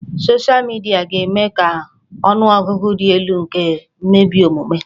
Soshịa midia ga-eme ka ọnụ ọgụgụ dị elu nke mmebi omume